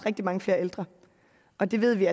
rigtig mange flere ældre og det ved vi